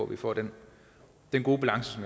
vi får den gode balance